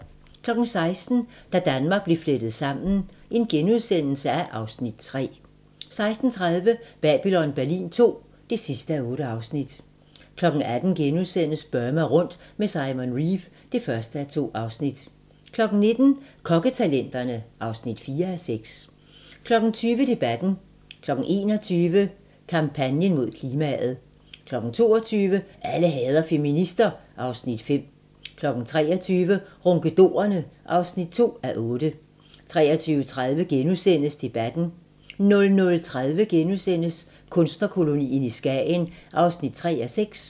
16:00: Da Danmark blev flettet sammen (Afs. 3)* 16:30: Babylon Berlin II (8:8) 18:00: Burma rundt med Simon Reeve (1:2)* 19:00: Kokketalenterne (4:6) 20:00: Debatten 21:00: Kampagnen mod klimaet 22:00: Alle hader feminister (Afs. 5) 23:00: Ronkedorerne (2:8) 23:30: Debatten * 00:30: Kunstnerkolonien i Skagen (3:6)*